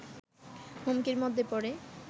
হুমকির মধ্যে পড়ে